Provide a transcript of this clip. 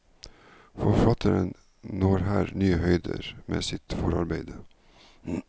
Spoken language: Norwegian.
Forfatteren når her nye høyder med sitt forarbeide.